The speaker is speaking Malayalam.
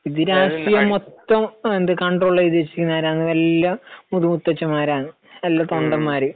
ഇത് രാഷ്ട്രീയം മൊത്തം എന്താ കണ്ട്രോൾ ചെയ്തുവച്ചിരിക്കുന്നത് ആരാണ്? എല്ലാം മുത്ത് മുത്തച്ഛന്മാരാണ്. നല്ല തൊണ്ടന്മാര്.